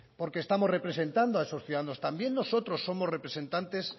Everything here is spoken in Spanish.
porque estamos representado a esos ciudadanos también nosotros somos representantes